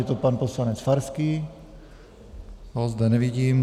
Je to pan poslanec Farský, toho zde nevidím.